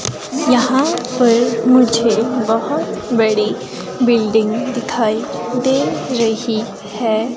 यहां पर मुझे बहोत बड़ी बिल्डिंग दिखाई दे रही है।